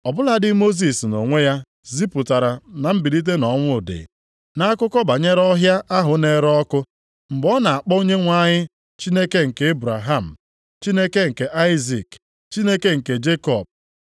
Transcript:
Ọ bụladị Mosis nʼonwe ya zipụtara na mbilite nʼọnwụ dị, nʼakụkọ banyere ọhịa ahụ na-ere ọkụ, mgbe ọ na-akpọ Onyenwe anyị ‘Chineke nke Ebraham, Chineke nke Aịzik na Chineke nke Jekọb.’ + 20:37 \+xt Ọpụ 3:6\+xt*